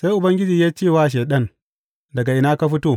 Sai Ubangiji ya ce wa Shaiɗan, Daga ina ka fito?